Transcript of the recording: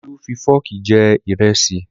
Olú fi fọ́ọ̀kì jẹ ìrẹsì